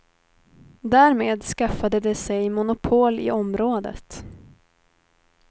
Därmed skaffade de sig monopol i området.